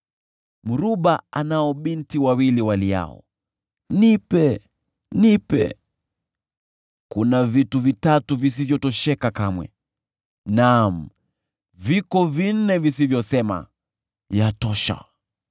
“Mruba anao binti wawili waliao, ‘Nipe! Nipe!’ “Kuna vitu vitatu visivyotosheka kamwe, naam, viko vinne visivyosema, ‘Yatosha!’: